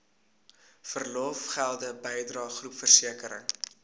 verlofgelde bydrae groepversekering